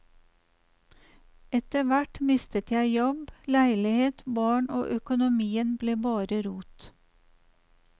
Etterhvert mistet jeg jobb, leilighet, barn og økonomien ble bare rot.